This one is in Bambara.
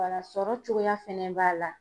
sɔrɔ cogoya fɛnɛ b'a la.